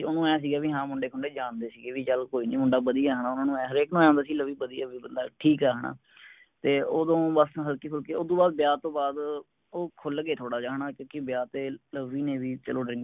ਓਹਨੂੰ ਐਂ ਸੀਗਾ ਬੀ ਮੁੰਡੇ ਖੁੰਡੇ ਜਾਣਦੇ ਸੀਗੇ ਬੀ ਚੱਲ ਕੋਇਨੀ ਮੁੰਡਾ ਵਦੀਆ ਹੈ ਨਾ ਉਹਨਾਂ ਨੂੰ ਹਰ ਇਕ ਨੂੰ ਐਂ ਹੁੰਦਾ ਸੀ ਲਵੀ ਵਦਿਆ ਬੀ ਬੰਦਾ ਠੀਕ ਆ ਹੈਨਾ ਤੇ ਓਦੋਂ ਬੱਸ ਹਲਕੀ ਫੁਲਕੀ ਓਸਤੋ ਬਾਦ ਵਿਆਹ ਤੋਂ ਬਾਦ ਉਹ ਖੁਲਗੇ ਥੋੜਾ ਜੇਹਾ ਹੈਨਾ ਕਿਉਂਕਿ ਵਿਆਹ ਤੇ ਲਵੀ ਨੇ ਵੀ ਚਲੋ